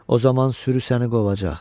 O zaman sürü səni qovacaq.